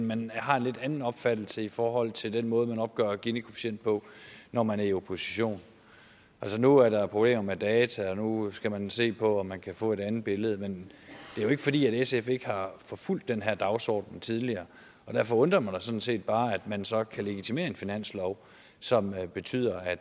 man har en lidt anden opfattelse i forhold til den måde man opgør ginikoefficienten på når man er i opposition altså nu er der problemer med data og nu skal man se på om man kan få et andet billede men det er jo ikke fordi sf ikke har forfulgt den her dagsorden tidligere og derfor undrer det mig sådan set bare at man så kan legitimere en finanslov som betyder at